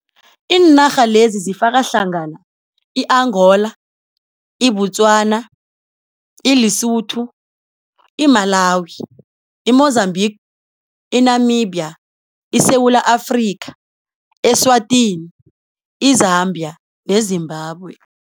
Iinarha lezi zifaka hlangana i-Angola, iBotswana, iLesotho, iMalawi, iMozambique, iNamibia, iSewula Afrika, Eswatini, i-Zambia neZimbabwe.